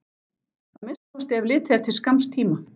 Að minnsta kosti ef litið er til skamms tíma.